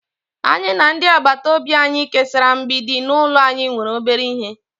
anyi na ndi agbata obi anyi kesara mgbidi n'ulo anyi nwere obere ihe